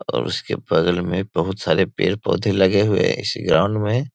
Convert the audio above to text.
और उसके बगल में बहुत सारे पेड़-पौधे लगे हुए इस ग्राउंड में --